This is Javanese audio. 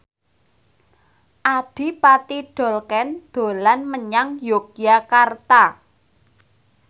Adipati Dolken dolan menyang Yogyakarta